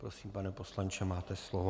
Prosím, pane poslanče, máte slovo.